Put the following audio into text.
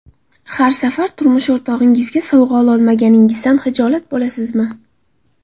Har safar turmush o‘rtog‘ingizga sovg‘a ololmaganingizdan xijolat bo‘lasizmi?